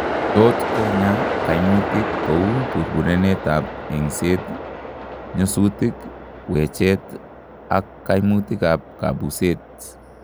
Tot konyaa kaimutik kouu burburenet ab eng'seet, nyosutik, wecheet ak kaimutik ab kabuuset